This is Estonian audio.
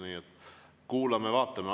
Nii et kuulame-vaatame.